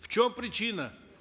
в чем причина